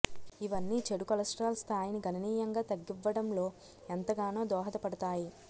ఇవన్నీ చెడు కొలెస్టరాల్ స్తాయి ని గణనీయంగా తగ్గివ్వడం లో ఎంతగానో దోహద పడుతాయి